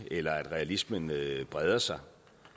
eller at realismen breder sig